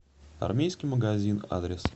армейский магазин адрес